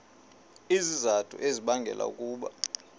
izizathu ezibangela ukuba